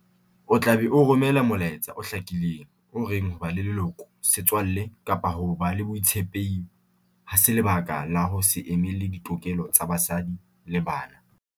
O tla be o romela molaetsa o hlakileng o reng ho ba leloko, setswalle kapa ho ba le botshepehi ha se lebaka la ho se emele ditokelo tsa basadi le bana.